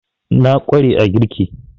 Na ƙware a girki